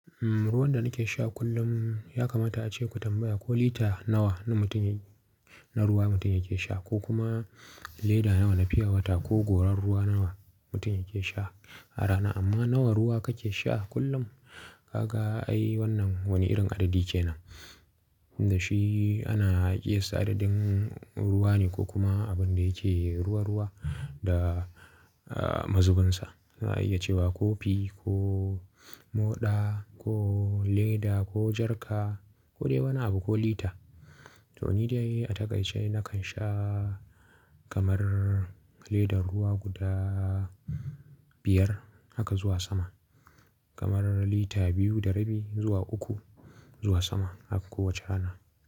Ruwan da nake sha kullum ya kamata ace ku tambaya ko lita nawa na mutum na ruwa mutum yake sha ko kuma leda nawa na fiya wata ko gorar ruwa nawa mutum yake sha a rana. Amma nawa ruwa kake sha kullum? Ka ga ai wannan wani irin adadi kenan. Inda shi ana iya sa adadin ruwa ne ko kuma abin da yake ruwa-ruwa da mazubinsa. Ana iya cewa kofi ko moɗa ko leda ko jarka ko dai wani abu ko lita. To ni dai a takaice nakan sha kamar ledar ruwa guda biyar haka zuwa sama. Kamar lita biyu da rabi zuwa uku zuwa sama a kowace rana.